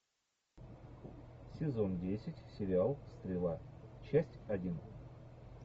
сезон десять сериал стрела часть один